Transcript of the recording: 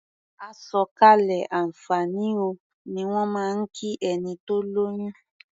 "Àsọ̀kalẹ̀ àǹfààní o" ni wọ́n máa ń kí ẹni tó lóyún.